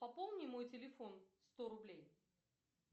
пополни мой телефон сто рублей